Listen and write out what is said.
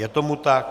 Je tomu tak.